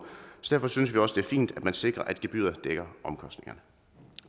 derfor synes vi også det er fint at man sikrer at gebyret dækker omkostningerne